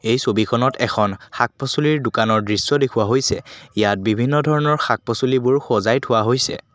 এই ছবিখনত শাক পাচলীৰ দোকানৰ দৃশ্য দেখুওৱা হৈছে ইয়াত বিভিন্ন ধৰণৰ শাক পাচলিবোৰ সজাই থোৱা হৈছে।